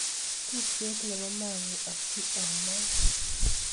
tupchet Nebo mang'uu asi among'.